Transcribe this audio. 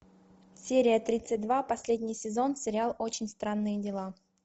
серия тридцать два последний сезон сериал очень странные дела